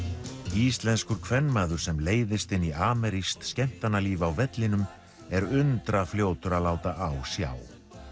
íslenskur kvenmaður sem leiðist inn í amerískt skemmtanalíf á vellinum er undra fljótur að láta á sjá